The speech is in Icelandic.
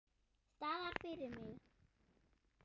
Staðir fyrir mig.